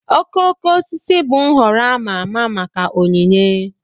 Okooko osisi bụ nhọrọ a ma ama maka onyinye